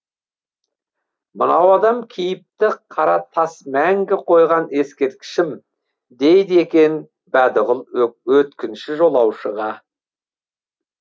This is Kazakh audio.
мынау адам кейіпті қара тас мәңгі қойған ескерткішім дейді екен бәдіғұл өткінші жолаушыға